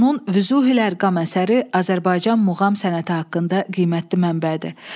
Onun Vüzuhülərqam əsəri Azərbaycan muğam sənəti haqqında qiymətli mənbədir.